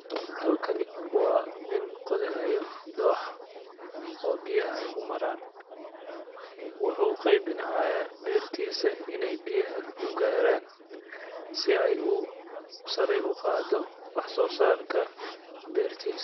Halkani waa nin qodahayo dooxo oo biyaha u maraan. Wuxuu u qeyb inay hayaa beertisa inay biyaha u gaaraan si ay u saray u qaado wax soo saarka beertisa.